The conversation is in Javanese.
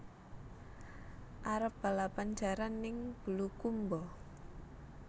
Arep balapan jaran ning Bulukumba